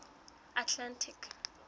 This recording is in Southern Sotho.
atlantic